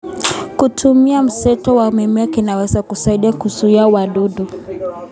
Kutumia mseto wa mimea kunaweza kusaidia kuzuia wadudu.